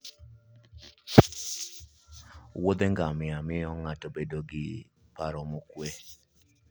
Wuodhe ngamia miyo ng'ato bedo gi paro mokuwe.